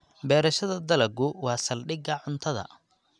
Beerashada dalaggu waa saldhigga cuntada.